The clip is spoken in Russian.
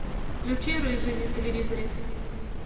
включи рыжий на телевизоре